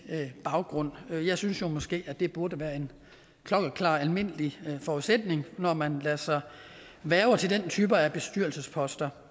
baggrund jeg synes jo måske at det burde være en klokkeklar almindelig forudsætning når man lader sig hverve til den type af bestyrelsesposter